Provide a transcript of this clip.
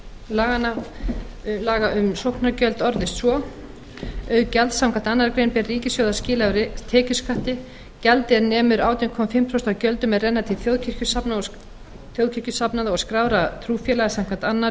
fimmtu grein laga um sóknargjöld orðast svo auk gjalds samkvæmt annarri grein ber ríkissjóði að skila af tekjuskatti gjaldi er nemur átján og hálft prósent af gjöldum er renna til þjóðkirkjusafnaða og skráðra trúfélaga samkvæmt öðrum